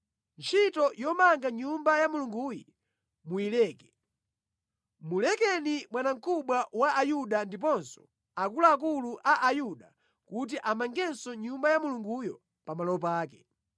Ntchito yomanga Nyumba ya Mulunguyi muyileke. Mulekeni bwanamkubwa wa Ayuda ndiponso akuluakulu a Ayuda kuti amangenso Nyumba ya Mulunguyo pamalo pake.